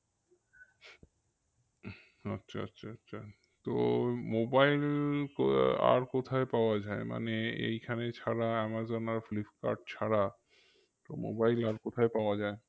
আচ্ছা আচ্ছা আচ্ছা তো mobile আর কোথায় পাওয়া যায় মানে এইখানে ছাড়া আমাজন আর ফ্লিপকার্ট ছাড়া তো mobile আর কোথায় পাওয়া যায়?